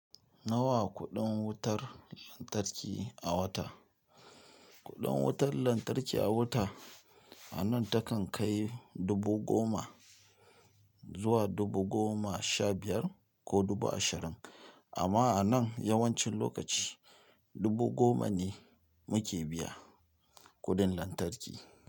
Nawa kuɗin wutar lantarki a wata? Kuɗin wutar lantarki a wata a nan takan kai dubu goma zuwa dubu goma sha biyar ko dubu ashirin. Amma a nan yawancin lokaci dubu goma ne muke biya kuɗin lantarki.